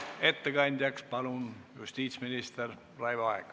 Ettekandjaks palun justiitsminister Raivo Aegi!